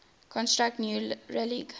construct new railgauge